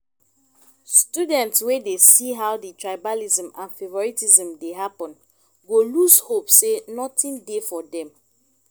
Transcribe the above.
student wey dey see how di tribalism and favouritism dey happen go loose hope sey nothing dey for them